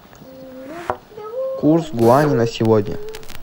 курс юаня на сегодня